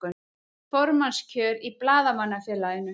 Formannskjör í Blaðamannafélaginu